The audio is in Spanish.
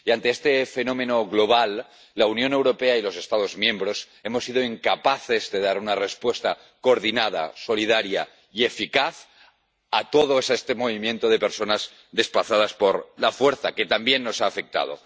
Y ante este fenómeno global, la Unión Europea y los Estados miembros hemos sido incapaces de dar una respuesta coordinada, solidaria y eficaz a todo este movimiento de personas desplazadas por la fuerza que también nos ha afectado.